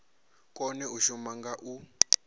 kone u shuma nga u